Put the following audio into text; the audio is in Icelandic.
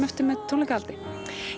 eftir með tónleikahaldi